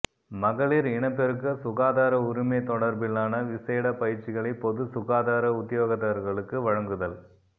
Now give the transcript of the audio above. மகளிர் இனப்பெருக்க சுகாதார உரிமை தொடர்பிலான விசேட பயிற்சிகளைப் பொதுச் சுகாதார உத்தியோகத்தர்களுக்கு வழங்குதல்